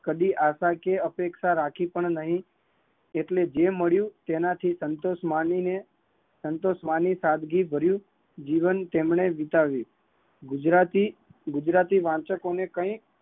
કદી આશકીય અપેક્ષા રાખી પણ નહીં એટલે જે મળિયું તેનાથી સંતોષ મણિ ને સાદગી ભરિયું જીવન વિતાવ્યુ